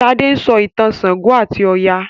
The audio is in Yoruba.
Sade sọ ìtàn ṣàngó ati Oya.